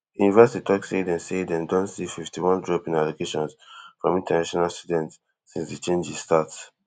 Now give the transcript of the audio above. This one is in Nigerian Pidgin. di university tok say dem say dem don see fifty-one drop in allocations from international students since di changes start